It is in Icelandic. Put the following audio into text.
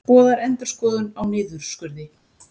Boðar endurskoðun á niðurskurði